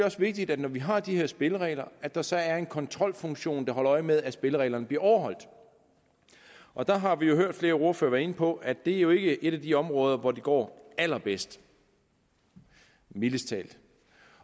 også vigtigt når vi har de her spilleregler at der så er en kontrolfunktion der holder øje med at spillereglerne bliver overholdt og der har vi hørt flere ordførere være inde på at det jo ikke er et af de områder hvor det går allerbedst mildest talt